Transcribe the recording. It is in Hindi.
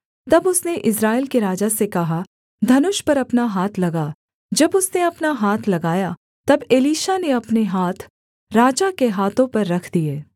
तब उसने इस्राएल के राजा से कहा धनुष पर अपना हाथ लगा जब उसने अपना हाथ लगाया तब एलीशा ने अपने हाथ राजा के हाथों पर रख दिए